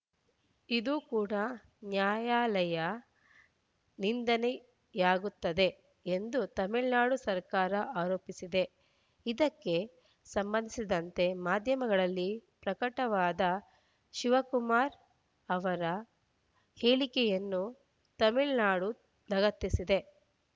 ಇದು ಕೂಡ ನ್ಯಾಯಾಲಯ ನಿಂದನೆಯಾಗುತ್ತದೆ ಎಂದು ತಮಿಳುನಾಡು ಸರ್ಕಾರ ಆರೋಪಿಸಿದೆ ಇದಕ್ಕೆ ಸಂಬಂಧಿಸಿದಂತೆ ಮಾಧ್ಯಮಗಳಲ್ಲಿ ಪ್ರಕಟವಾದ ಶಿವಕುಮಾರ್‌ ಅವರ ಹೇಳಿಕೆಯನ್ನು ತಮಿಳುನಾಡು ಲಗತ್ತಿಸಿದೆ